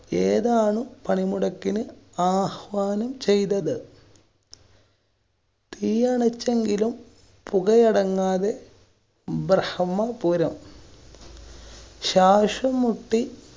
ഏതാണ് പണിമുടക്കിന് ആഹ്വാനം ചെയ്തത്. തീയണച്ചെങ്കിലും പുകയടങ്ങാതെ ബ്രഹമ്മ പുരം. ശാശം മുട്ടി